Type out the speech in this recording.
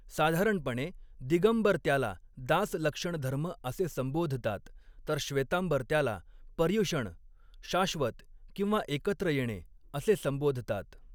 साधारणपणे, दिगंबर त्याला दास लक्षण धर्म असे संबोधतात, तर श्वेतांबर त्याला पर्युषण 'शाश्वत' किंवा 'एकत्र येणे' असे संबोधतात.